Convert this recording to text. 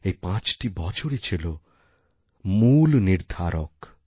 এই পাঁচটি বছরই ছিল মূল নির্ধারক